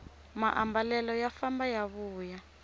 maambalelo ya famba ya vuya